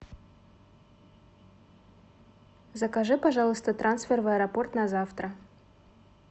закажи пожалуйста трансфер в аэропорт на завтра